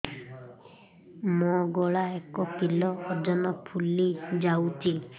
ମୋ ଗଳା ଏକ କିଲୋ ଓଜନ ଫୁଲି ଯାଉଛି